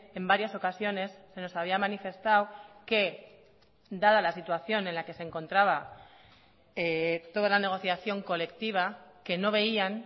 en varias ocasiones se nos había manifestado que dada la situación en la que se encontraba toda la negociación colectiva que no veían